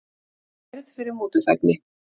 Kærð fyrir mútuþægni